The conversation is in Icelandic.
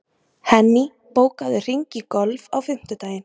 Henný, bókaðu hring í golf á fimmtudaginn.